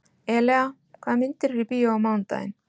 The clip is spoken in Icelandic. Elea, hvaða myndir eru í bíó á mánudaginn?